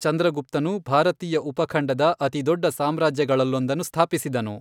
ಚಂದ್ರಗುಪ್ತನು ಭಾರತೀಯ ಉಪಖಂಡದ ಅತಿದೊಡ್ಡ ಸಾಮ್ರಾಜ್ಯಗಳಲ್ಲೊಂದನ್ನು ಸ್ಥಾಪಿಸಿದನು.